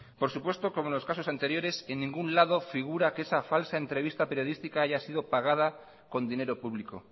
por supuesto como en los caso anteriores en ningún lado figura que esa falsa entrevista periodística haya sido pagada con dinero público